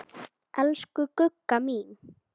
Elsku Gugga mín.